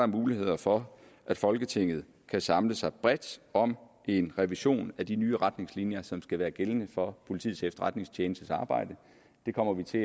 muligheder for at folketinget kan samle sig bredt om en revision af de nye retningslinjer som skal være gældende for politiets efterretningstjenestes arbejde det kommer vi til